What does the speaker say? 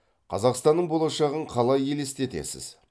қазақстаның болашағын қалай елестетесіз